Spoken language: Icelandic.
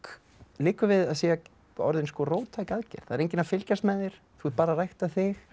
liggur við að sé orðin róttæk aðgerð það er enginn að fylgjast með þér þú ert bara að rækta þig